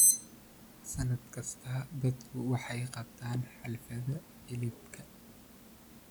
Sannad kasta, dadku waxay qabtaan xafladaha hilibka.